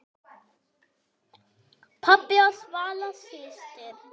Pabbi og Svala systir.